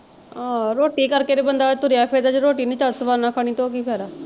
ਅਹ ਰੋਟੀ ਕਰਕੇ ਤੇ ਬੰਦਾ ਤੁਰਿਆ ਫਿਰਦਾ ਜ ਰੋਟੀ ਨਹੀਂ ਚੱਜ ਸਵਾਦ ਨਾਲ ਖਾਣੀ ਤੇ ਉਹ ਕੀ ਫਾਇਦਾ।